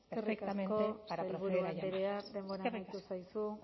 perfectamente para proceder a llamarlas eskerrik asko eskerrik asko sailburu andrea denbora amaitu zaizu